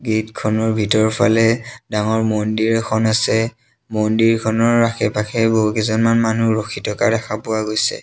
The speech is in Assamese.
গেট খনৰ ভিতৰফালে ডাঙৰ মন্দিৰ এখন আছে মন্দিৰখনৰ আশে-পাশে বহু কেইজনমান মানুহ ৰখি থকা দেখা পোৱা গৈছে।